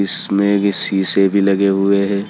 इसमें भी शीशे भी लगे हुए हैं।